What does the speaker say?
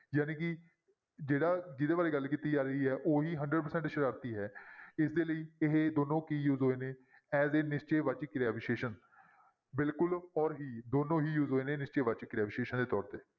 ਜਾਣੀ ਕਿ ਜਿਹੜਾ ਜਿਹਦੇ ਬਾਰੇ ਗੱਲ ਕੀਤੀ ਜਾ ਰਹੀ ਹੈ ਉਹੀ hundred percent ਸਰਾਰਤੀ ਹੈ ਇਸਦੇ ਲਈ ਇਹ ਦੋਨੋਂ ਕੀ use ਹੋਏ ਨੇ as a ਨਿਸ਼ਚੈ ਵਾਚਕ ਕਿਰਿਆ ਵਿਸ਼ੇਸ਼ਣ ਬਿਲਕੁਲ ਔਰ ਹੀ ਦੋਨੋਂ ਹੀ use ਹੋਏ ਨੇ ਨਿਸ਼ਚੈ ਵਾਚਕ ਕਿਰਿਆ ਵਿਸ਼ੇਸ਼ਣ ਦੇ ਤੌਰ ਤੇ।